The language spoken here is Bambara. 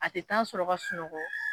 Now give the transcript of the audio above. A te tan sɔrɔ ka sunɔgɔ